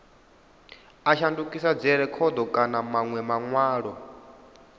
a shandukisa dzirekhodo kana manwe manwalo